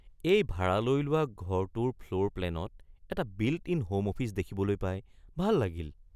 এই ভাৰালৈ লোৱা ঘৰটোৰ ফ্ল'ৰ প্লেনত এটা বিল্ট-ইন হ'ম অফিচ দেখিবলৈ পাই ভাল লাগিল।